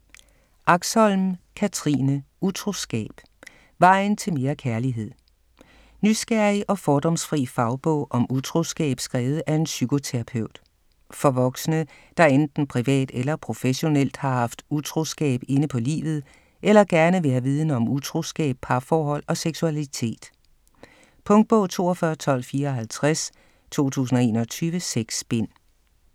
Axholm, Katrine: Utroskab: vejen til mere kærlighed? Nysgerrig og fordomsfri fagbog om utroskab skrevet af en psykoterapeut. For voksne, der enten privat eller professionelt har haft utroskab inde på livet eller gerne vil have viden om utroskab, parforhold og seksualitet. Punktbog 421254 2021. 6 bind.